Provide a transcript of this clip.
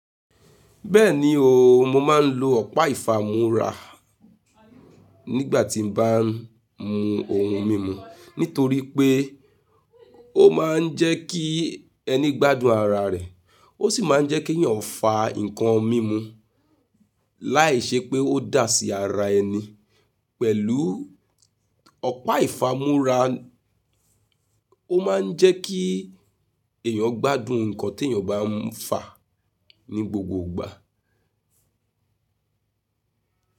Bẹ́ẹ̀ni o, mo máa ń lo ọ̀pá ìfámúra nígbà tí mo bá ń mu ohun mímu nítorí pé ó máa ń jẹ́ kí ẹni gbádùn ara rẹ̀. Ó sì máa ń jẹ́ kí èèyàn fà nǹkan mímu láìṣe pé ó dà sí ara ẹni. Pẹ̀lú ọ̀pá ìfámúra, ó máa ń jẹ́ kí èèyàn gbádùn nǹkan tí èèyàn bá ń fà ní gbogbo ìgbà.